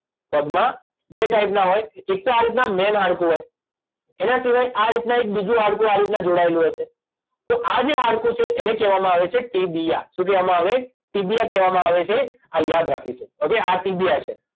પગમાં બે ટાઇપના હોય એક તો આ રીતના મેઇન હાડકું હોય એના સિવાય આ રીતના એક બીજું હાડકું આ રીતના જોડાયેલું હશે તો આ જે હાડકું છે એને કહેવામાં આવે છે ટીબીયા શું કહેવામાં આવે ટીબીયા કહેવામાં આવે છે આ યાદ રાખીશું હવે આ ટીબીયા છે